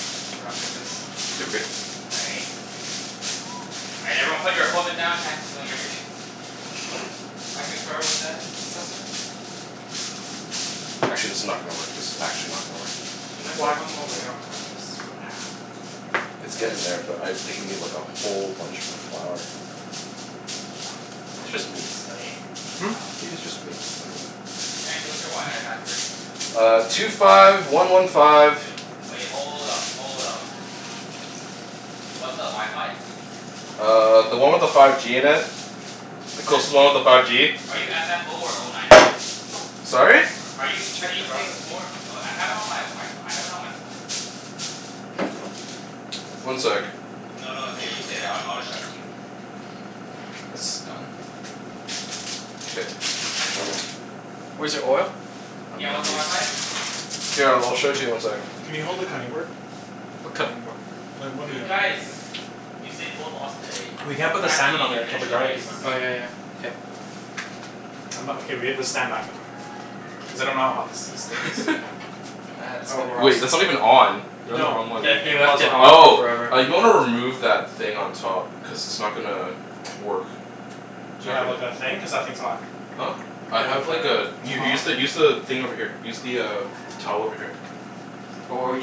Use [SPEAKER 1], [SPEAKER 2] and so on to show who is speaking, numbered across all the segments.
[SPEAKER 1] Back to wrapping this.
[SPEAKER 2] K, we're good?
[SPEAKER 3] All right. All right, everyone put your equipment down. Chancey's doing everything.
[SPEAKER 1] I concur with that assessment.
[SPEAKER 2] Actually, this is not gonna work. This is actually not gonna work.
[SPEAKER 1] Should I put
[SPEAKER 4] Why?
[SPEAKER 1] one more layer on top of this for
[SPEAKER 3] Nah.
[SPEAKER 1] It's
[SPEAKER 2] It's
[SPEAKER 1] gonna
[SPEAKER 2] getting there,
[SPEAKER 1] seep
[SPEAKER 2] but
[SPEAKER 1] through,
[SPEAKER 2] I
[SPEAKER 1] for
[SPEAKER 2] think
[SPEAKER 1] sure,
[SPEAKER 2] we need
[SPEAKER 1] but
[SPEAKER 2] like a
[SPEAKER 1] whatever.
[SPEAKER 2] whole bunch more flour. Maybe it's just me?
[SPEAKER 1] Studying?
[SPEAKER 4] Hmm?
[SPEAKER 3] No.
[SPEAKER 2] Maybe it's just me? I dunno.
[SPEAKER 3] Chancey, what's your wi-fi password?
[SPEAKER 2] Uh, two five one one five
[SPEAKER 3] Wait, hold up. Hold up. What's the wi-fi?
[SPEAKER 2] Uh, the one with the five G in it. The
[SPEAKER 3] There's
[SPEAKER 2] closest one
[SPEAKER 3] two
[SPEAKER 2] with the
[SPEAKER 3] with
[SPEAKER 2] five
[SPEAKER 3] five G.
[SPEAKER 2] G.
[SPEAKER 3] Are you f f oh, or oh nine nine?
[SPEAKER 2] Sorry?
[SPEAKER 3] Are you
[SPEAKER 1] Check the
[SPEAKER 3] C
[SPEAKER 1] router.
[SPEAKER 3] six four Oh, I have it on my Wi- F- I have it on my phone.
[SPEAKER 2] One sec.
[SPEAKER 3] No, no, it's okay. You stay there. I I'll just shout to you.
[SPEAKER 1] This is done.
[SPEAKER 2] K.
[SPEAKER 1] Where's your oil?
[SPEAKER 2] I'm
[SPEAKER 3] Yeah,
[SPEAKER 2] gonna
[SPEAKER 3] what's the
[SPEAKER 2] need
[SPEAKER 3] wi-fi?
[SPEAKER 2] s- Here, I'll show it to you in one sec.
[SPEAKER 4] Can you hold the
[SPEAKER 3] Okay.
[SPEAKER 4] cutting board?
[SPEAKER 1] What cutting board?
[SPEAKER 4] The wooden
[SPEAKER 3] Dude,
[SPEAKER 4] one.
[SPEAKER 3] guys! Usain Bolt lost today.
[SPEAKER 4] We can't
[SPEAKER 3] In
[SPEAKER 4] put the
[SPEAKER 3] fact, he
[SPEAKER 4] salmon
[SPEAKER 3] didn't
[SPEAKER 4] on
[SPEAKER 3] even
[SPEAKER 4] there until
[SPEAKER 3] finish
[SPEAKER 4] the
[SPEAKER 3] the race.
[SPEAKER 4] garlic is done.
[SPEAKER 1] Oh yeah yeah. K.
[SPEAKER 4] I'm not okay, we have to stand back though. Cuz I don't know how hot this this still is.
[SPEAKER 2] Wait,
[SPEAKER 1] That's
[SPEAKER 2] that's
[SPEAKER 1] gonna
[SPEAKER 2] not even on. You're on the wrong
[SPEAKER 4] No,
[SPEAKER 2] one.
[SPEAKER 1] He
[SPEAKER 4] the,
[SPEAKER 1] he
[SPEAKER 4] it
[SPEAKER 1] left
[SPEAKER 4] was
[SPEAKER 1] it
[SPEAKER 4] on.
[SPEAKER 1] on for
[SPEAKER 2] Oh.
[SPEAKER 1] forever.
[SPEAKER 2] Uh, you might wanna remove that thing on top. Cuz it's not gonna work.
[SPEAKER 4] Do you
[SPEAKER 2] Not
[SPEAKER 4] have
[SPEAKER 2] gonna
[SPEAKER 4] like, a thing? Cuz that thing's hot.
[SPEAKER 2] Huh? I
[SPEAKER 4] Do you
[SPEAKER 2] have
[SPEAKER 4] have like
[SPEAKER 2] like a
[SPEAKER 4] a a
[SPEAKER 2] U- use
[SPEAKER 4] tong?
[SPEAKER 2] the use the thing over here. Use the uh towel over here.
[SPEAKER 1] Wh- what were you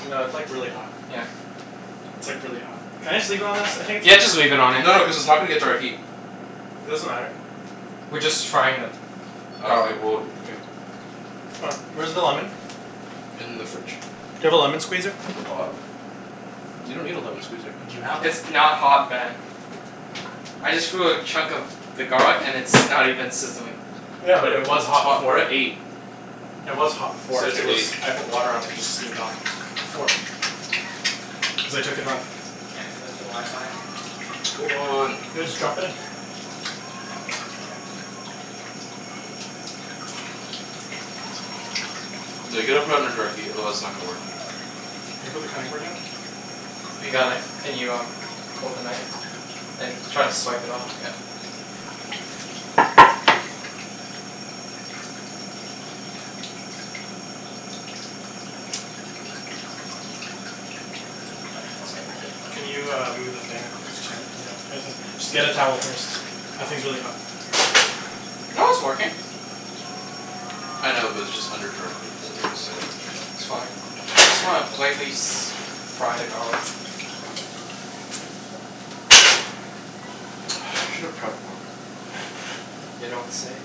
[SPEAKER 4] No, it's like, really hot.
[SPEAKER 1] Yeah.
[SPEAKER 4] It's like, really hot. Can I just leave it on this? I think it's
[SPEAKER 1] Yeah, just
[SPEAKER 4] fine.
[SPEAKER 1] leave it on it.
[SPEAKER 2] No no, cuz it's not gonna get direct heat.
[SPEAKER 4] Doesn't matter.
[SPEAKER 1] We're just frying the
[SPEAKER 2] Oh, okay.
[SPEAKER 1] garlic.
[SPEAKER 2] Well, okay.
[SPEAKER 4] C'mon. Where's the lemon?
[SPEAKER 2] In the fridge.
[SPEAKER 4] Do you have a lemon squeezer?
[SPEAKER 2] At the bottom. You don't need a lemon squeezer.
[SPEAKER 4] Do you have one?
[SPEAKER 1] It's not hot, Ben. I just threw a chunk of the garlic and it's not even sizzling.
[SPEAKER 4] Yeah,
[SPEAKER 2] But,
[SPEAKER 4] but
[SPEAKER 1] We're
[SPEAKER 4] it
[SPEAKER 1] at
[SPEAKER 4] was
[SPEAKER 2] cuz
[SPEAKER 1] the
[SPEAKER 2] it's
[SPEAKER 4] hot
[SPEAKER 1] top,
[SPEAKER 2] hot, we're
[SPEAKER 4] before.
[SPEAKER 1] we're at
[SPEAKER 2] at
[SPEAKER 1] eight.
[SPEAKER 2] eight.
[SPEAKER 4] It was hot before.
[SPEAKER 2] Set it
[SPEAKER 4] It
[SPEAKER 2] to
[SPEAKER 4] was,
[SPEAKER 2] eight.
[SPEAKER 4] I put water on it and it just steamed off. Before. Cuz I took it off.
[SPEAKER 3] Chancey, what's your wi-fi?
[SPEAKER 2] Hold on.
[SPEAKER 4] Yeah, just drop it in.
[SPEAKER 3] Drop it like it's hot.
[SPEAKER 2] No, you gotta put it under direct heat, otherwise it's not gonna work.
[SPEAKER 4] Can you put the cutting board in?
[SPEAKER 1] We
[SPEAKER 4] And a
[SPEAKER 1] got it.
[SPEAKER 4] knife?
[SPEAKER 1] Can you um hold the knife? And try to swipe it all, yeah. My hands got a bit
[SPEAKER 4] Can you, uh, move the thing? Cuz Chan Just get a towel first. That thing's really hot.
[SPEAKER 1] No, it's working.
[SPEAKER 2] I know, but it's just under direct heat, so I'm just saying.
[SPEAKER 1] It's fine. We just wanna lightly s- fry the garlic.
[SPEAKER 2] I should have prepped more.
[SPEAKER 1] You don't say.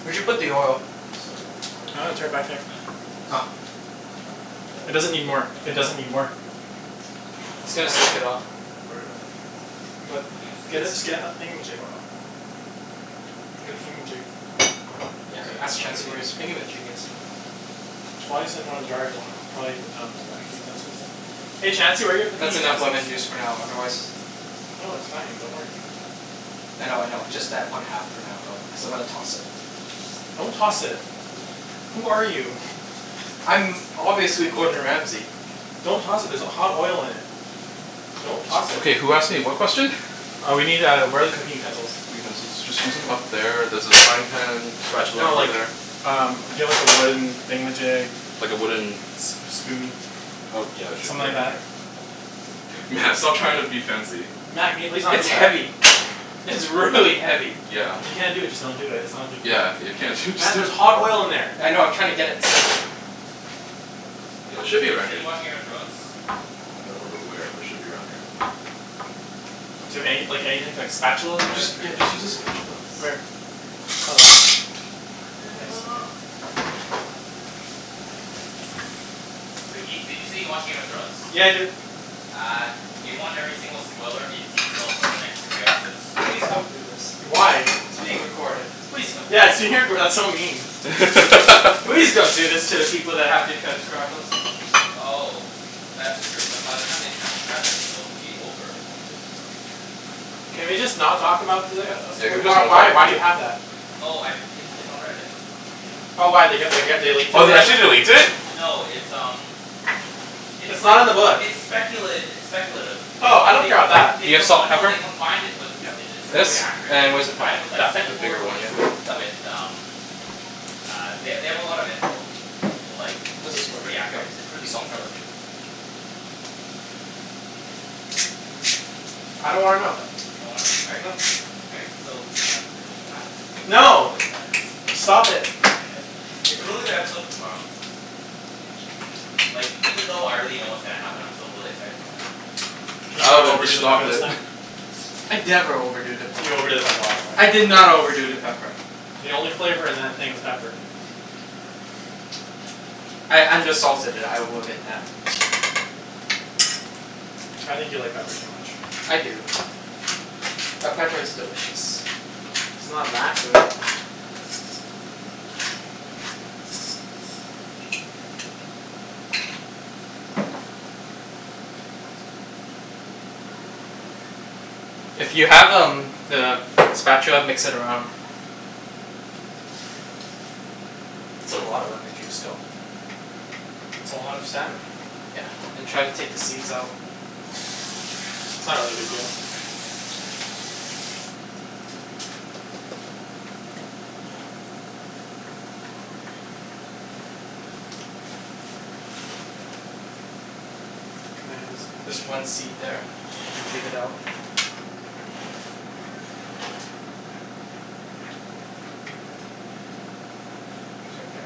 [SPEAKER 1] Where'd you put the oil?
[SPEAKER 2] Are you just starting at this point?
[SPEAKER 4] Oh right, it's right back there.
[SPEAKER 3] Huh?
[SPEAKER 2] Are you just
[SPEAKER 1] Oh.
[SPEAKER 2] starting at this point?
[SPEAKER 3] I
[SPEAKER 4] It
[SPEAKER 3] could.
[SPEAKER 4] doesn't need more.
[SPEAKER 3] But
[SPEAKER 4] It
[SPEAKER 3] I'll
[SPEAKER 4] doesn't
[SPEAKER 3] help.
[SPEAKER 4] need more.
[SPEAKER 1] It's
[SPEAKER 2] Oh,
[SPEAKER 1] gonna soak it up.
[SPEAKER 2] here, I'll write it out for you.
[SPEAKER 4] But
[SPEAKER 3] you can just say
[SPEAKER 4] get
[SPEAKER 3] it.
[SPEAKER 4] a, just get a thingamajig.
[SPEAKER 1] Hold on.
[SPEAKER 4] Get a
[SPEAKER 2] Here.
[SPEAKER 4] thingamajig.
[SPEAKER 1] Yeah,
[SPEAKER 2] Cuz
[SPEAKER 3] All right.
[SPEAKER 2] like, I'm
[SPEAKER 1] ask
[SPEAKER 2] not sure if
[SPEAKER 1] Chancey
[SPEAKER 2] the
[SPEAKER 1] where
[SPEAKER 2] other
[SPEAKER 1] his
[SPEAKER 2] people need it.
[SPEAKER 1] thingamajig
[SPEAKER 2] Cuz
[SPEAKER 1] is.
[SPEAKER 2] I don't
[SPEAKER 3] Oh.
[SPEAKER 2] think Ibs
[SPEAKER 3] Okay.
[SPEAKER 2] has been over in a while.
[SPEAKER 4] Try um some cooking utensils. Hey Chancey, where are your cooking
[SPEAKER 1] That's enough lemon
[SPEAKER 4] utensils?
[SPEAKER 1] juice for now, otherwise
[SPEAKER 4] No, it's fine. Don't worry about it.
[SPEAKER 3] Thanks,
[SPEAKER 1] I
[SPEAKER 3] dude.
[SPEAKER 1] know, I know. Just add one half for now though, cuz I'm gonna toss it.
[SPEAKER 4] Don't toss it. Who are you?
[SPEAKER 1] I'm obviously Gordon Ramsey.
[SPEAKER 4] Don't toss it, there's h- hot oil in it. Don't toss it.
[SPEAKER 2] Okay, who asked me what question?
[SPEAKER 4] Uh we need uh, where are the cooking utensils?
[SPEAKER 2] Utensils. Just use them, up there, there's a frying pan spatula
[SPEAKER 4] No
[SPEAKER 2] over
[SPEAKER 4] like,
[SPEAKER 2] there.
[SPEAKER 4] um we need a wooden thingamajig.
[SPEAKER 2] Like a wooden
[SPEAKER 4] S- a spoon.
[SPEAKER 2] Oh, yeah, should
[SPEAKER 4] Something
[SPEAKER 2] be right
[SPEAKER 4] like that?
[SPEAKER 2] here. Mat, stop trying to be fancy.
[SPEAKER 4] Mat, can you please not do
[SPEAKER 1] It's
[SPEAKER 4] that?
[SPEAKER 1] heavy. It's really heavy.
[SPEAKER 2] Yeah.
[SPEAKER 4] If you can't do it, just don't do it. It's not a big
[SPEAKER 2] Yeah,
[SPEAKER 4] deal.
[SPEAKER 2] if you can't do it just
[SPEAKER 4] Mat,
[SPEAKER 2] d-
[SPEAKER 4] there's hot oil in there.
[SPEAKER 1] I know. I'm trying to get it centered.
[SPEAKER 3] Wait,
[SPEAKER 2] It
[SPEAKER 3] Ibs,
[SPEAKER 2] should
[SPEAKER 3] did
[SPEAKER 2] be
[SPEAKER 3] you say
[SPEAKER 2] around here.
[SPEAKER 3] you watch Game of Thrones?
[SPEAKER 2] I don't remember where, but it should be around here.
[SPEAKER 4] Do you have any like, anything like spatula
[SPEAKER 1] I'm gonna
[SPEAKER 2] Just,
[SPEAKER 4] maybe?
[SPEAKER 1] drink
[SPEAKER 2] yeah,
[SPEAKER 1] my
[SPEAKER 2] just use a
[SPEAKER 1] cocoa in this
[SPEAKER 2] spatula.
[SPEAKER 1] peace.
[SPEAKER 4] Where?
[SPEAKER 3] Your cocoa in
[SPEAKER 4] Oh,
[SPEAKER 3] peace?
[SPEAKER 4] that?
[SPEAKER 1] I'm
[SPEAKER 4] Oh
[SPEAKER 1] in
[SPEAKER 4] nice. Okay.
[SPEAKER 1] love with the cocoa.
[SPEAKER 3] But Ibs, did you say you watch Game of Thrones?
[SPEAKER 4] Yeah, I do.
[SPEAKER 3] Uh, do you want every single spoiler in detail for the next three episodes?
[SPEAKER 1] Please don't do this.
[SPEAKER 4] Why?
[SPEAKER 1] It's being recorded. Please don't do this.
[SPEAKER 4] Yes, you did, but that's so mean.
[SPEAKER 1] Please don't do this to the people that have to transcribe us.
[SPEAKER 3] Oh. That's true. But by the time they transcribe it it'll be over, won't it?
[SPEAKER 4] Can we just not talk about the uh as-
[SPEAKER 2] Yeah, can
[SPEAKER 4] w-
[SPEAKER 2] we just
[SPEAKER 4] why
[SPEAKER 2] not talk
[SPEAKER 4] why do
[SPEAKER 2] about
[SPEAKER 4] you
[SPEAKER 2] it?
[SPEAKER 4] have that?
[SPEAKER 3] Oh, I, it's it's on Reddit.
[SPEAKER 4] Oh, why? They g- they g- they leaked it
[SPEAKER 2] Oh, they
[SPEAKER 4] already?
[SPEAKER 2] actually, they leaked it?
[SPEAKER 3] No, it's um it's
[SPEAKER 4] It's
[SPEAKER 3] like,
[SPEAKER 4] not in the book.
[SPEAKER 3] it's speculat- it's speculative. But
[SPEAKER 4] Oh, I
[SPEAKER 3] like,
[SPEAKER 4] don't
[SPEAKER 3] they
[SPEAKER 4] care 'bout that.
[SPEAKER 3] they
[SPEAKER 1] Do you have
[SPEAKER 3] combi-
[SPEAKER 1] salt
[SPEAKER 3] no, they
[SPEAKER 1] pepper?
[SPEAKER 3] combined it with
[SPEAKER 2] Yep,
[SPEAKER 3] It's it's
[SPEAKER 2] right there.
[SPEAKER 1] This?
[SPEAKER 3] really accurate. Like,
[SPEAKER 1] And
[SPEAKER 3] they
[SPEAKER 1] where's the
[SPEAKER 2] There.
[SPEAKER 3] combine
[SPEAKER 1] pepper?
[SPEAKER 3] it with like,
[SPEAKER 1] That thing?
[SPEAKER 3] set
[SPEAKER 2] The bigger one,
[SPEAKER 3] photos
[SPEAKER 2] yeah.
[SPEAKER 1] Got it.
[SPEAKER 3] with um uh, they they have a lot of info. But like,
[SPEAKER 1] How does
[SPEAKER 3] it's
[SPEAKER 1] this
[SPEAKER 3] it's
[SPEAKER 1] work?
[SPEAKER 3] pretty
[SPEAKER 1] Yep,
[SPEAKER 3] accurate. It's preally
[SPEAKER 1] salt pepper.
[SPEAKER 3] detailed, too.
[SPEAKER 4] I don't wanna know.
[SPEAKER 1] What the
[SPEAKER 3] You don't wanna know? All right.
[SPEAKER 4] No.
[SPEAKER 3] All right. So, uh, pretty much what happens in tomorrow
[SPEAKER 4] No!
[SPEAKER 3] is that
[SPEAKER 4] Stop it.
[SPEAKER 3] It's a really good episode in tomorrow. Like, even though I already know
[SPEAKER 1] K.
[SPEAKER 3] what's gonna happen, I'm still really excited to watch it.
[SPEAKER 4] Can you not
[SPEAKER 2] Alvin,
[SPEAKER 4] overdo
[SPEAKER 2] just
[SPEAKER 4] the pepper
[SPEAKER 2] stop
[SPEAKER 4] this
[SPEAKER 2] it.
[SPEAKER 4] time?
[SPEAKER 1] I never overdo the pepper.
[SPEAKER 4] You overdid it last time.
[SPEAKER 1] I did not overdo the pepper.
[SPEAKER 4] The only flavor in that thing was pepper.
[SPEAKER 1] I undersalted it. I will admit that.
[SPEAKER 4] I think you like pepper too much.
[SPEAKER 1] I do. But pepper is delicious.
[SPEAKER 4] It's not that good.
[SPEAKER 1] If you have um the spatula mix it around. That's a lot of lemon juice though.
[SPEAKER 4] It's a lot of salmon.
[SPEAKER 1] Yeah, and try to take the seeds out.
[SPEAKER 4] It's not really a big deal.
[SPEAKER 1] Yeah.
[SPEAKER 4] Here. Can I have a
[SPEAKER 1] There's
[SPEAKER 4] spatch?
[SPEAKER 1] one seed there. If you could take it out. It's right there.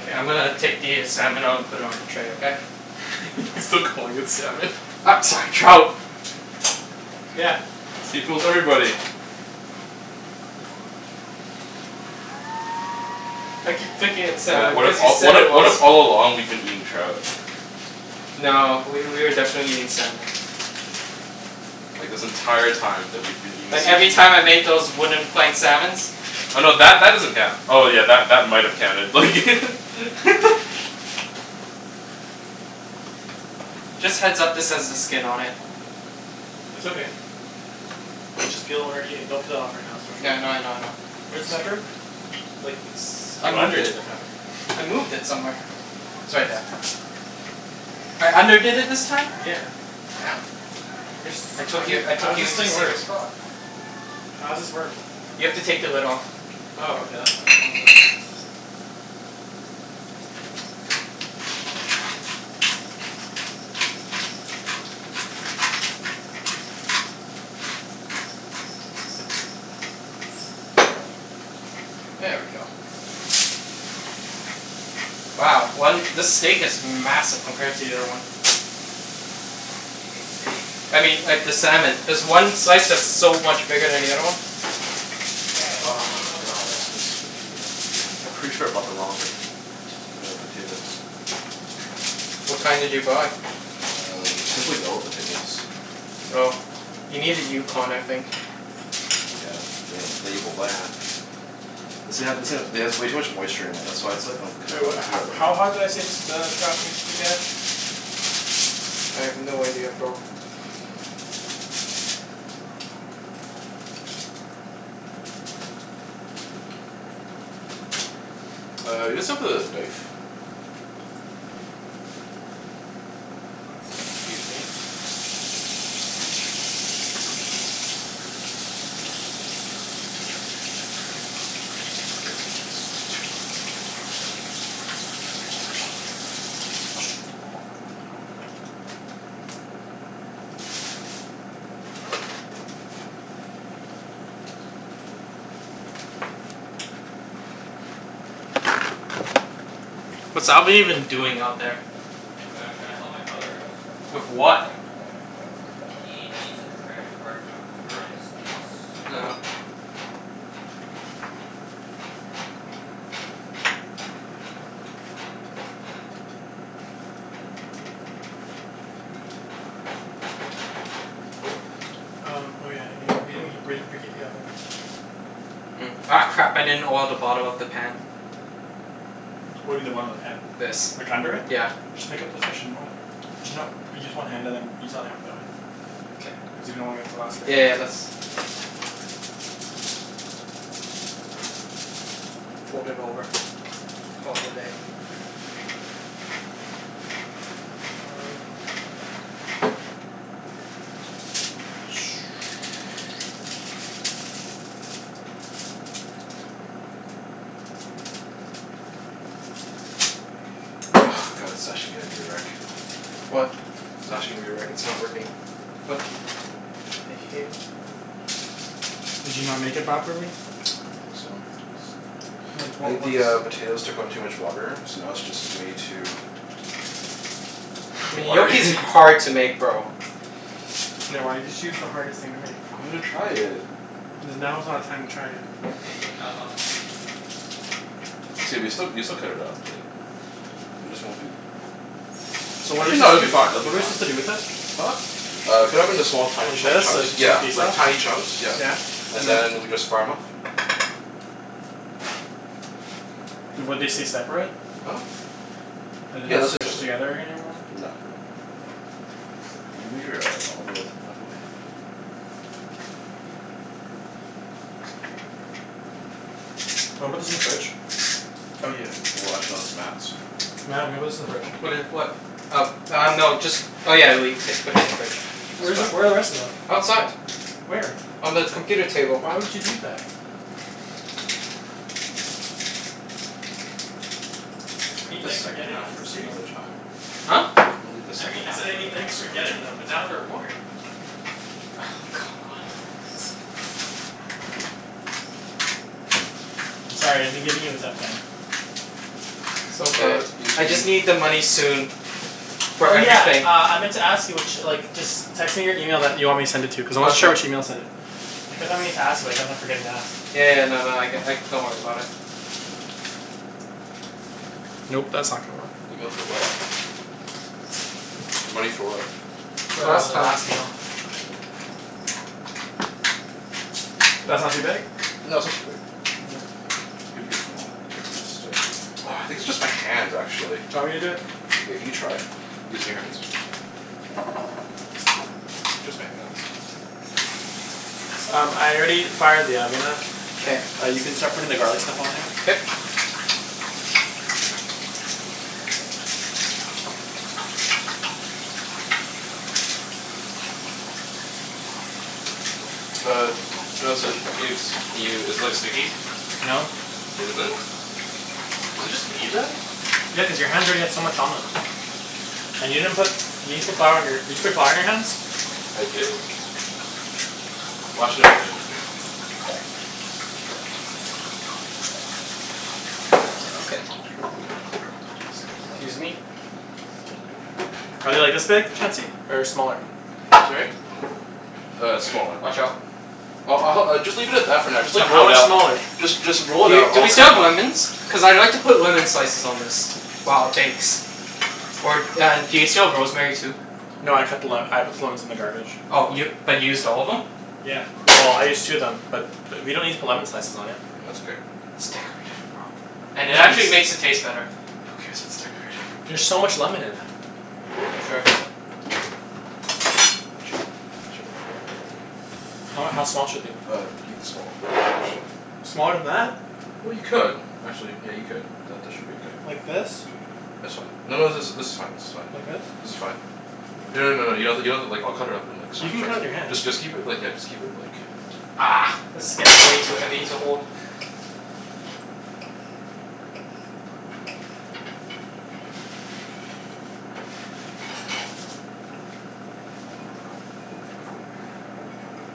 [SPEAKER 1] K, I'm gonna take the salmon out and put it on the tray, okay?
[SPEAKER 2] He's still calling it salmon.
[SPEAKER 1] U- sorry, trout.
[SPEAKER 4] Yeah.
[SPEAKER 2] See? Fools everybody.
[SPEAKER 1] I keep thinking it's
[SPEAKER 2] Mat,
[SPEAKER 1] salmon
[SPEAKER 2] what if
[SPEAKER 1] because you
[SPEAKER 2] all,
[SPEAKER 1] said
[SPEAKER 2] what
[SPEAKER 1] it
[SPEAKER 2] i- what
[SPEAKER 1] was.
[SPEAKER 2] if all along we've been eating trout?
[SPEAKER 1] No, w- we were definitely eating salmon.
[SPEAKER 2] Like this entire time that we've been eating
[SPEAKER 1] Like, every
[SPEAKER 2] sushi
[SPEAKER 1] time I made those wooden plank salmons.
[SPEAKER 2] Oh no, that that doesn't count. Oh yeah, that that might have counted, like
[SPEAKER 1] Just heads up, this has the skin on it.
[SPEAKER 4] It's okay. We'll just peel when we're eating. Don't cut it off right now. It's too much work.
[SPEAKER 1] Yeah, I know I know I know.
[SPEAKER 4] Where's the pepper? You, like,
[SPEAKER 1] S-
[SPEAKER 4] s-
[SPEAKER 1] I
[SPEAKER 4] you
[SPEAKER 1] moved
[SPEAKER 4] underdid
[SPEAKER 1] it.
[SPEAKER 4] the pepper.
[SPEAKER 1] I moved it somewhere. It's right there. I underdid it this time?
[SPEAKER 4] Yeah.
[SPEAKER 1] Damn.
[SPEAKER 4] Where's,
[SPEAKER 1] I
[SPEAKER 4] how
[SPEAKER 1] took
[SPEAKER 4] do
[SPEAKER 1] you-
[SPEAKER 4] you,
[SPEAKER 1] I took
[SPEAKER 4] how's
[SPEAKER 1] you
[SPEAKER 4] this
[SPEAKER 1] into
[SPEAKER 4] thing work?
[SPEAKER 1] serious thought.
[SPEAKER 4] How's this work?
[SPEAKER 1] You have to take the lid off.
[SPEAKER 4] Oh, okay. That's why. I was like
[SPEAKER 1] There we go. Wow. One, this steak is massive compared to the other one.
[SPEAKER 3] Did you say steak?
[SPEAKER 1] I mean, like, the salmon. There's one slice that's so much bigger than the other one.
[SPEAKER 3] Yeah, but
[SPEAKER 2] Oh,
[SPEAKER 3] steak is so much more
[SPEAKER 2] god, this
[SPEAKER 3] filling.
[SPEAKER 2] is way too wet. Yeah, pretty sure I bought the wrong po- t- t- uh, potatoes.
[SPEAKER 1] What kind did you buy?
[SPEAKER 2] Uh, they're simply yellow potatoes.
[SPEAKER 1] Oh. You needed Yukon, I think.
[SPEAKER 2] Yeah, they didn't label that. This thing ha- this thing ha- it has way too much moisture in it. That's why it's like, not
[SPEAKER 4] Wait,
[SPEAKER 2] coming
[SPEAKER 4] what ho-
[SPEAKER 2] together.
[SPEAKER 4] how hot did I say the s- the trout needs to get?
[SPEAKER 1] I have no idea, bro.
[SPEAKER 2] Uh, you guys have the knife?
[SPEAKER 4] Excuse me.
[SPEAKER 2] Yep, this is way too
[SPEAKER 1] What's Alvin even doing out there?
[SPEAKER 3] Wait, I'm trying to help my brother out.
[SPEAKER 1] With what?
[SPEAKER 3] He needs a credit card for Uber in the States.
[SPEAKER 1] Oh.
[SPEAKER 4] Um, oh yeah. Y- we didn't he- we didn't preheat the oven.
[SPEAKER 1] Hmm. Ah, crap. I didn't oil the bottom of the pan.
[SPEAKER 4] What do you mean the bottom of the pan?
[SPEAKER 1] This.
[SPEAKER 4] Like, under it?
[SPEAKER 1] Yeah.
[SPEAKER 4] Just pick up the fish and oil it. There's no but use one hand and then use the other hand for the other one.
[SPEAKER 1] K.
[SPEAKER 4] Cuz you don't wanna get the
[SPEAKER 1] Yeah yeah yeah, that's Fold it over. Call it a day.
[SPEAKER 4] Mm.
[SPEAKER 2] Ah, god it's actually gonna be a wreck.
[SPEAKER 1] What?
[SPEAKER 2] It's actually gonna be a wreck. It's not working.
[SPEAKER 1] What? The hell.
[SPEAKER 4] Did you not make it properly?
[SPEAKER 2] I don't think so. It's
[SPEAKER 4] What
[SPEAKER 2] I
[SPEAKER 4] wa-
[SPEAKER 2] think the
[SPEAKER 4] what's
[SPEAKER 2] uh, potatoes took on too much water so now it's just way too
[SPEAKER 1] I mean,
[SPEAKER 2] watery.
[SPEAKER 1] gnocchi's hard to make, bro.
[SPEAKER 4] Yeah, why did you choose the hardest thing to make?
[SPEAKER 2] I wanted to try it.
[SPEAKER 4] Cuz now is not a time to try it.
[SPEAKER 3] Yeah, now's not the time to try it.
[SPEAKER 2] It's gonna be still, we can still cut it up, like It just won't be
[SPEAKER 4] So what are su-
[SPEAKER 2] Actually no, it'll be
[SPEAKER 4] do,
[SPEAKER 2] fine. It'll
[SPEAKER 4] what
[SPEAKER 2] be
[SPEAKER 4] are we
[SPEAKER 2] fine.
[SPEAKER 4] supposed to do with it?
[SPEAKER 2] Huh? Uh, cut it up into small, tiny
[SPEAKER 4] Like
[SPEAKER 2] chu-
[SPEAKER 4] this? So
[SPEAKER 2] chunks.
[SPEAKER 4] as to get the
[SPEAKER 2] Yeah,
[SPEAKER 4] piece
[SPEAKER 2] like
[SPEAKER 4] off?
[SPEAKER 2] tiny chunks, yeah.
[SPEAKER 4] Yeah. And
[SPEAKER 2] And
[SPEAKER 4] then?
[SPEAKER 2] then we just fire 'em off.
[SPEAKER 4] Would they stay separate?
[SPEAKER 2] Huh?
[SPEAKER 4] Are they
[SPEAKER 2] Yeah,
[SPEAKER 4] not
[SPEAKER 2] they'll stay
[SPEAKER 4] squished
[SPEAKER 2] separate.
[SPEAKER 4] together any- anymore?
[SPEAKER 2] No, they won't. Can you move your uh olive oil thing out of the way?
[SPEAKER 4] Wanna put this in the fridge?
[SPEAKER 2] Oh yeah. Well, actually no, it's Mat's, so
[SPEAKER 4] Mat, I'm gonna put this in the fridge.
[SPEAKER 1] What i- what? Uh uh, no. Just Oh yeah, le- c- put it in the fridge. It's
[SPEAKER 4] Where is,
[SPEAKER 1] fine.
[SPEAKER 4] where are the rest of them?
[SPEAKER 1] Outside.
[SPEAKER 4] Where?
[SPEAKER 1] On the computer table.
[SPEAKER 4] Why would you do that? I mean
[SPEAKER 2] Leave the
[SPEAKER 4] thanks for
[SPEAKER 2] second
[SPEAKER 4] getting
[SPEAKER 2] half
[SPEAKER 4] them, but
[SPEAKER 2] for some other
[SPEAKER 4] seriously.
[SPEAKER 2] time.
[SPEAKER 1] Huh?
[SPEAKER 2] I'm gonna leave the
[SPEAKER 4] I mean,
[SPEAKER 2] second
[SPEAKER 4] I
[SPEAKER 2] half
[SPEAKER 4] said I mean thanks
[SPEAKER 2] for
[SPEAKER 4] for
[SPEAKER 2] some other
[SPEAKER 4] getting
[SPEAKER 2] time.
[SPEAKER 4] them but now they're warm.
[SPEAKER 1] Oh,
[SPEAKER 4] God.
[SPEAKER 1] come on.
[SPEAKER 4] I'm sorry. I've been giving you a tough time.
[SPEAKER 1] It's okay.
[SPEAKER 2] Uh, you
[SPEAKER 1] I just need the money soon. For
[SPEAKER 4] Oh yeah,
[SPEAKER 1] everything.
[SPEAKER 4] uh, I meant to ask you ch- like just text me your email that you want me to send it to, cuz I wasn't sure
[SPEAKER 1] Gotcha.
[SPEAKER 4] which email to send it. I kept on meaning to ask you but I kept on forgetting to ask.
[SPEAKER 1] Yeah yeah, no no, I c- like, don't worry about it.
[SPEAKER 4] Nope. That's not gonna work.
[SPEAKER 2] Email for what? Money for what?
[SPEAKER 4] For the
[SPEAKER 1] Last time.
[SPEAKER 4] last meal.
[SPEAKER 2] Mm.
[SPEAKER 4] That's not too big?
[SPEAKER 2] No, that's not too big. You can make it smaller. It's gonna stick. Ah, I think it's just my hands, actually.
[SPEAKER 4] Do you want me to do it?
[SPEAKER 2] Yeah, can you try? Using your hands? Maybe just my hands.
[SPEAKER 4] Um, I already fired the oven up.
[SPEAKER 1] K.
[SPEAKER 4] Uh, you can start putting the garlic stuff on there.
[SPEAKER 1] K.
[SPEAKER 2] Uh how's it, Ibs? Can you, is it like sticky?
[SPEAKER 4] No.
[SPEAKER 2] It isn't? Is it just me, then?
[SPEAKER 4] Yeah, cuz your hands already had so much on them. And you didn't put, you didn't put flour on your Did you put flour on your hands?
[SPEAKER 2] I did. Well, actually I've been
[SPEAKER 1] K. Excuse me.
[SPEAKER 4] Are they like this big, Chancey? Or smaller?
[SPEAKER 2] Sorry? Uh, smaller.
[SPEAKER 1] Watch out.
[SPEAKER 2] I'll I'll hel- just leave it at that for now. Just
[SPEAKER 4] So,
[SPEAKER 2] like, roll
[SPEAKER 4] how
[SPEAKER 2] it
[SPEAKER 4] much
[SPEAKER 2] out.
[SPEAKER 4] smaller?
[SPEAKER 2] Just just roll
[SPEAKER 1] Do
[SPEAKER 2] it
[SPEAKER 1] y-
[SPEAKER 2] out.
[SPEAKER 1] do
[SPEAKER 2] I'll
[SPEAKER 1] we
[SPEAKER 2] cut
[SPEAKER 1] still
[SPEAKER 2] 'em
[SPEAKER 1] have
[SPEAKER 2] up.
[SPEAKER 1] lemons? Cuz I'd like to put lemon slices on this. While it bakes. Or and do you still have rosemary, too?
[SPEAKER 2] That's
[SPEAKER 4] No, I cut the le-
[SPEAKER 2] better.
[SPEAKER 4] I put the lemons in the garbage.
[SPEAKER 1] Oh, y- but you used all of them?
[SPEAKER 4] Yeah. Well, I used two of them. But we don't need to put lemon slices on it.
[SPEAKER 2] That's okay.
[SPEAKER 1] It's decorative, bro. And it
[SPEAKER 4] Yeah, I
[SPEAKER 1] actually
[SPEAKER 2] It's
[SPEAKER 4] just
[SPEAKER 1] makes it taste better.
[SPEAKER 2] Who cares if it's decorated?
[SPEAKER 4] There's so much lemon in that.
[SPEAKER 1] Sure. Watch
[SPEAKER 2] Chop.
[SPEAKER 1] out.
[SPEAKER 2] Chop.
[SPEAKER 4] How how small should they be?
[SPEAKER 2] Uh, even smaller than that actually.
[SPEAKER 4] Smaller than that?
[SPEAKER 2] Well, you could. Actually, yeah, you could. That that should be okay.
[SPEAKER 4] Like this?
[SPEAKER 2] That's fine. No no, this is this is fine, this is
[SPEAKER 4] Like
[SPEAKER 2] fine.
[SPEAKER 4] this?
[SPEAKER 2] This is fine. No no no no, you have to, you don't have to like, I'll cut it up in like
[SPEAKER 4] You
[SPEAKER 2] tiny
[SPEAKER 4] can cut it with your
[SPEAKER 2] chunks.
[SPEAKER 4] hand.
[SPEAKER 2] Just just keep it like, yeah, just keep it like
[SPEAKER 4] Argh!
[SPEAKER 1] This is getting way too heavy to hold.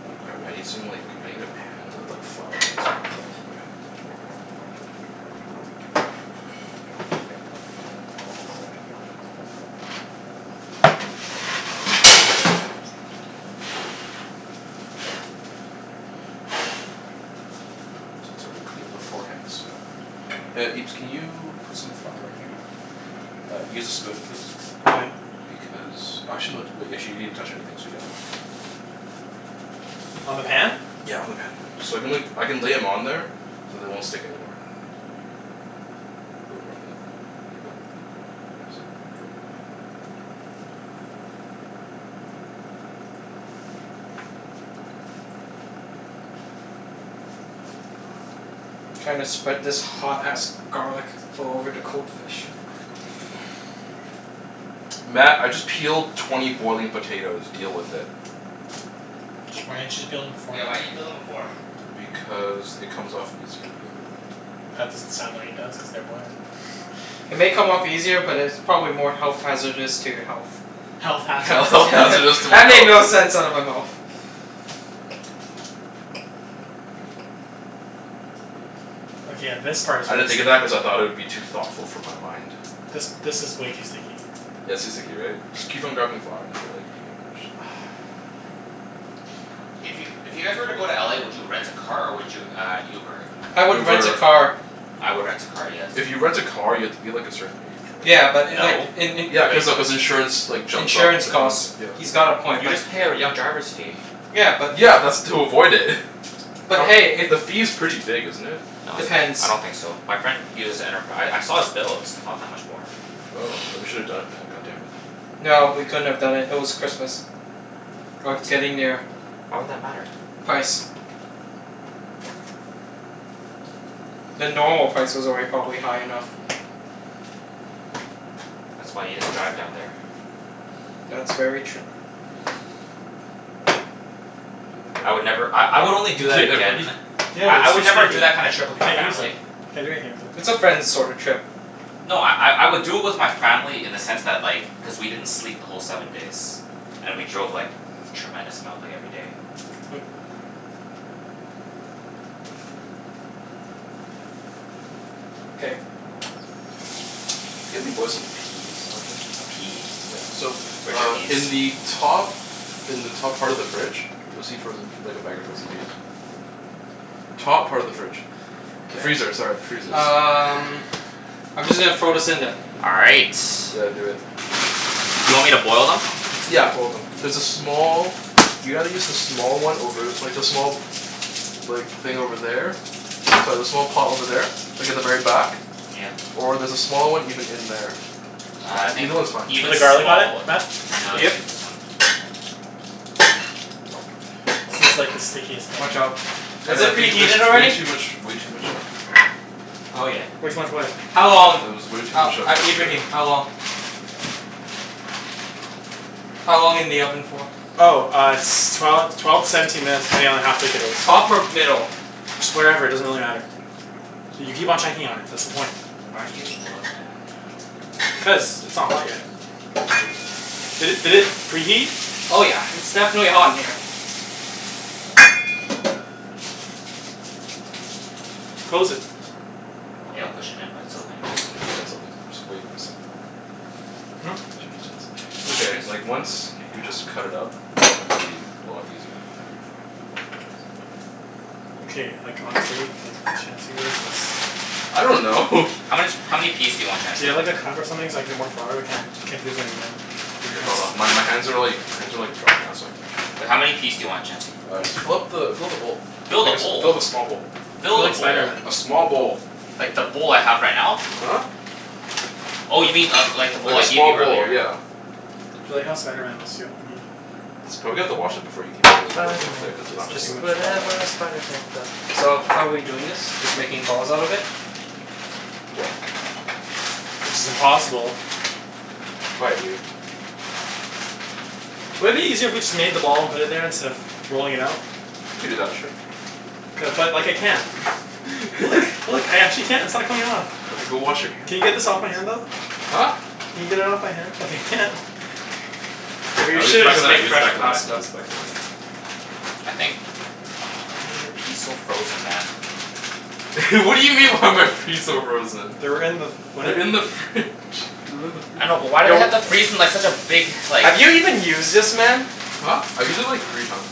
[SPEAKER 2] Oh crap. I need some like, I need a pan with like flour in it so I can put 'em on the pan. Since I already cleaned beforehand, so Yeah, Ibs, can you put some flour in here? Uh, use a spoon please.
[SPEAKER 4] Why?
[SPEAKER 2] Because, actually no, d- wait, you actually didn't touch anything, so yeah.
[SPEAKER 4] On the pan?
[SPEAKER 2] Yeah, on the pan. So I can la- I can lay 'em on there so they won't stick anymore. Little more than that. Keep going. Thanks. K, we're good.
[SPEAKER 1] Trying to spread this hot ass garlic all over the cold fish.
[SPEAKER 2] Mat, I just peeled twenty boiling potatoes. Deal with it.
[SPEAKER 4] Why didn't you just peel them
[SPEAKER 3] Yeah, why
[SPEAKER 4] beforehand?
[SPEAKER 3] didn't you peel them before?
[SPEAKER 2] Because it comes off easier the other way.
[SPEAKER 4] That doesn't sound like it does, cuz they're boiling.
[SPEAKER 1] It may come off easier, but it's probably more health hazardous to your health.
[SPEAKER 4] Health
[SPEAKER 2] Health
[SPEAKER 4] hazardous to
[SPEAKER 2] hazardous to my
[SPEAKER 1] That made
[SPEAKER 2] health.
[SPEAKER 1] no sense out of my mouth.
[SPEAKER 4] Okay, yeah, this part
[SPEAKER 2] I didn't think of that cuz I thought it would be too thoughtful for my mind.
[SPEAKER 4] This this is way too sticky.
[SPEAKER 2] Yeah, it's too sticky, right? Just keep on grabbing flour until like, you
[SPEAKER 3] Hey, if you if you guys were to go to LA, would you rent a car or would you uh Uber?
[SPEAKER 1] I would rent a
[SPEAKER 2] Uber.
[SPEAKER 1] car.
[SPEAKER 3] I would rent a car, yes.
[SPEAKER 2] If you rent a car, you have to be like, a certain age, right?
[SPEAKER 1] Yeah, but like
[SPEAKER 3] No.
[SPEAKER 1] in in
[SPEAKER 2] Yeah, cuz of, cuz insurance like, jumps up
[SPEAKER 1] insurance
[SPEAKER 2] the cost,
[SPEAKER 1] costs.
[SPEAKER 2] yeah.
[SPEAKER 1] He's got a point,
[SPEAKER 3] You
[SPEAKER 1] but
[SPEAKER 3] just pay a r- young driver's fee.
[SPEAKER 1] Yeah, but if
[SPEAKER 2] Yeah, that's to avoid it.
[SPEAKER 1] But
[SPEAKER 2] But
[SPEAKER 1] hey, if
[SPEAKER 2] the fee's pretty big, isn't it?
[SPEAKER 3] No, it's not. I
[SPEAKER 1] Depends.
[SPEAKER 3] don't think so. My friend uses Enterpri- I I saw his bills. Not that much more.
[SPEAKER 2] Oh, then we should have done it Mat, god damn it.
[SPEAKER 1] No, we couldn't have done it. It was Christmas. Or
[SPEAKER 3] What?
[SPEAKER 1] getting there.
[SPEAKER 3] Why would that matter?
[SPEAKER 1] Price. The normal price was already probably high enough.
[SPEAKER 3] That's why you just drive down there.
[SPEAKER 1] That's very true.
[SPEAKER 3] I would never, I I would only do
[SPEAKER 2] You
[SPEAKER 3] that
[SPEAKER 2] okay there, buddy?
[SPEAKER 3] again
[SPEAKER 4] Yeah,
[SPEAKER 3] I I
[SPEAKER 4] they're
[SPEAKER 3] would
[SPEAKER 4] too
[SPEAKER 3] never do
[SPEAKER 4] sticky.
[SPEAKER 3] that kind of
[SPEAKER 4] I
[SPEAKER 3] trip with my
[SPEAKER 4] can't use
[SPEAKER 3] family.
[SPEAKER 4] it. Can't do anything with it.
[SPEAKER 1] It's a friends sorta
[SPEAKER 2] Yeah.
[SPEAKER 1] trip.
[SPEAKER 3] No, I I I would do it with my family in the sense that, like cuz we didn't sleep the whole seven days. And we drove like, tremendous amount like, every day.
[SPEAKER 1] Hmm. K.
[SPEAKER 2] Can you help me boil some peas, Alvin?
[SPEAKER 3] A pea?
[SPEAKER 2] Yeah. So,
[SPEAKER 3] Where's your
[SPEAKER 2] uh in
[SPEAKER 3] peas?
[SPEAKER 2] the top in the top part of the fridge you'll see frozen like, a bag of frozen peas. Top part of the fridge. The freezer, sorry. The freezer,
[SPEAKER 1] K.
[SPEAKER 2] sorry.
[SPEAKER 1] Um
[SPEAKER 3] Freezer.
[SPEAKER 1] I'm just gonna throw this in then.
[SPEAKER 3] All right.
[SPEAKER 2] Yeah, do it.
[SPEAKER 3] Do you want me to boil them?
[SPEAKER 2] Yeah, boil them. There's a small, you gotta use the small one over, like the small like, thing over there. Sorry, the small pot over there. Like at the very back.
[SPEAKER 3] Yeah.
[SPEAKER 2] Or there's a small one even in there.
[SPEAKER 3] Ah, I think
[SPEAKER 2] Either one's fine.
[SPEAKER 4] Did you put
[SPEAKER 3] even
[SPEAKER 4] the garlic on
[SPEAKER 3] small w-
[SPEAKER 4] it, Mat?
[SPEAKER 3] No,
[SPEAKER 2] Yeah,
[SPEAKER 3] I'll
[SPEAKER 2] buddy.
[SPEAKER 3] just
[SPEAKER 1] Yep.
[SPEAKER 3] use this one.
[SPEAKER 4] This is like the stickiest thing.
[SPEAKER 1] Watch out.
[SPEAKER 2] I
[SPEAKER 1] Is
[SPEAKER 2] know, I
[SPEAKER 1] it
[SPEAKER 2] think there's
[SPEAKER 1] preheated
[SPEAKER 2] way
[SPEAKER 1] already?
[SPEAKER 2] too much, way too much, um
[SPEAKER 1] Oh yeah.
[SPEAKER 3] Yeah.
[SPEAKER 4] Way too much what?
[SPEAKER 1] How
[SPEAKER 2] Uh,
[SPEAKER 1] long?
[SPEAKER 2] there was way too
[SPEAKER 1] Oh,
[SPEAKER 2] much uh
[SPEAKER 1] uh,
[SPEAKER 2] moisture.
[SPEAKER 1] Ibrahim? How long? How long in the oven for?
[SPEAKER 4] Oh, uh s- twelve twelve to seventeen minutes depending on how thick it is.
[SPEAKER 1] Top or middle?
[SPEAKER 4] Just wherever. It doesn't really matter. So you keep on checking on it. That's the point.
[SPEAKER 3] Why aren't you using gloves, man?
[SPEAKER 4] Cuz it's not hot yet. Did it did it preheat?
[SPEAKER 1] Oh yeah. It's definitely hot in here.
[SPEAKER 4] Close it.
[SPEAKER 3] Yeah, I'll push it in by itself anyways.
[SPEAKER 2] I just should of done something that's way more simpler.
[SPEAKER 4] Hmm?
[SPEAKER 2] Should just done som- It's
[SPEAKER 3] Why are
[SPEAKER 2] okay.
[SPEAKER 3] these
[SPEAKER 2] Like, once
[SPEAKER 3] frozen
[SPEAKER 2] we just cut it up, it's gonna be a lot easier from there on out.
[SPEAKER 4] Okay, like, honestly like, Chancey. What is this?
[SPEAKER 2] I don't know.
[SPEAKER 3] How much, how many peas do you want,
[SPEAKER 4] Do you
[SPEAKER 3] Chancey?
[SPEAKER 4] have like a cup or something so I can get more flour? I can't can't do this anymore.
[SPEAKER 2] Okay, hold on. My my hands are like, my hands are like dry now so I can
[SPEAKER 3] Wait, how
[SPEAKER 2] actually
[SPEAKER 3] many peas do you want, Chancey?
[SPEAKER 2] Uh, just fill up the fill up the bowl.
[SPEAKER 3] Fill the
[SPEAKER 2] I guess fill
[SPEAKER 3] bowl?
[SPEAKER 2] the small bowl.
[SPEAKER 4] I feel
[SPEAKER 3] Fill the
[SPEAKER 4] like
[SPEAKER 3] bowl?
[SPEAKER 4] Spider Man.
[SPEAKER 2] A small bowl.
[SPEAKER 3] Like, the bowl I have right now?
[SPEAKER 2] Huh?
[SPEAKER 3] Oh, you mean uh like the
[SPEAKER 2] Like
[SPEAKER 3] bowl I
[SPEAKER 2] a
[SPEAKER 3] gave
[SPEAKER 2] small
[SPEAKER 3] you
[SPEAKER 2] bowl,
[SPEAKER 3] earlier?
[SPEAKER 2] yeah.
[SPEAKER 4] I feel like how Spider Man must feel.
[SPEAKER 2] Probably have
[SPEAKER 1] Spider
[SPEAKER 2] to wash
[SPEAKER 1] Man.
[SPEAKER 2] it before you keep on working
[SPEAKER 1] Spider
[SPEAKER 2] with
[SPEAKER 1] Man.
[SPEAKER 2] it, cuz it's not
[SPEAKER 4] It's
[SPEAKER 2] gonna
[SPEAKER 1] Just
[SPEAKER 4] too much
[SPEAKER 2] work.
[SPEAKER 4] on
[SPEAKER 1] whatever a
[SPEAKER 4] his hand.
[SPEAKER 1] spider pan does. So, how we doing this? Just making balls out of it?
[SPEAKER 2] Yep.
[SPEAKER 4] Which is impossible.
[SPEAKER 2] Quiet, you.
[SPEAKER 4] Wouldn't it be easier if we just made them all and put it there, instead of rolling it out?
[SPEAKER 2] You could do that, sure.
[SPEAKER 4] Cuz like, I can't. Look, look. I actually can't. It's not coming off.
[SPEAKER 2] Okay, go wash your hand,
[SPEAKER 4] Can you get
[SPEAKER 2] jeez.
[SPEAKER 4] this off my hand, though?
[SPEAKER 2] Huh?
[SPEAKER 4] Can you get it off my hand, cuz I can't?
[SPEAKER 2] Here,
[SPEAKER 1] We
[SPEAKER 2] I'll use the
[SPEAKER 1] should have
[SPEAKER 2] back of
[SPEAKER 1] just
[SPEAKER 2] the
[SPEAKER 1] made
[SPEAKER 2] knife, use the
[SPEAKER 1] fresh
[SPEAKER 2] back of the knife,
[SPEAKER 1] pasta.
[SPEAKER 2] use the back of the knife.
[SPEAKER 3] I think why are your peas so frozen, man?
[SPEAKER 2] What do you mean, why are my fees so frozen?
[SPEAKER 4] They were in with what?
[SPEAKER 2] They're in the fridge. They're in the
[SPEAKER 3] I
[SPEAKER 2] freezer.
[SPEAKER 3] know, but why do they
[SPEAKER 1] Yo
[SPEAKER 3] have to freeze them like such a big, like
[SPEAKER 1] Have you even used this, man?
[SPEAKER 2] Huh? I've used it like, three times.